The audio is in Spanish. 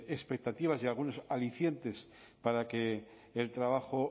expectativas y algunos alicientes para que el trabajo